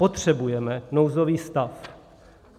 Potřebujeme nouzový stav.